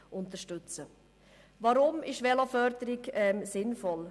Weshalb ist Veloförderung sinnvoll?